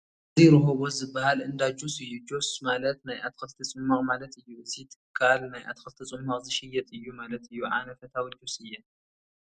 እዚ ሮሆቦት ዝበሃል እንዳ ጁስ እዩ፡፡ ጁስ ማለት ናይ ኣትክልቲ ፅሟቕ ማለት እዩ፡፡ እዚ ትካል ናይ ኣትክልቲ ፅሟቕ ዝሸይጥ እዩ ማለት እዩ፡፡ ኣነ ፈታዊ ጁስ እየ፡፡